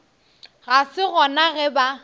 ga se gona ge ba